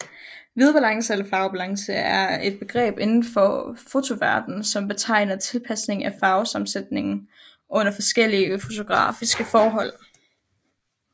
Hvidbalance eller farvebalance er et begreb indenfor fotoverdenen som betegner tilpasning af farvesammensætningen under forskellige fotografiske forhold